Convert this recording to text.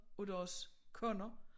Af deres koner